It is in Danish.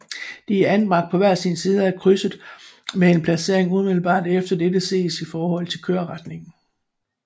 De er anbragt på hver sin side af krydset med en placering umiddelbart efter dette set i forhold til køreretningen